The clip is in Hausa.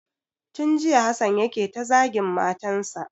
Tun jiya Hassan yake ta zagin matan sa.